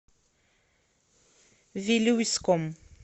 вилюйском